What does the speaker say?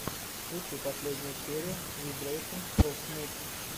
включи последнюю серию вибрэйшэнс оф мудс